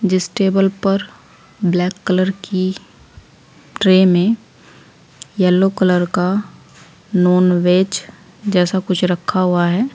जिस टेबल पर black colour की ट्रे में येलो कलर का नॉनवेज जैसा कुछ रखा हुआ है।